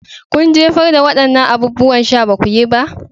Kun jefar da waɗannan abubuwan sha. Ba ku yi ba?